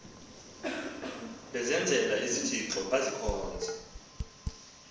bezenzela izithixo bazikhonze